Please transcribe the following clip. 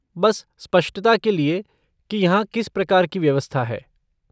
बस स्पष्टता के लिए कि यहाँ किस प्रकार की व्यवस्था है।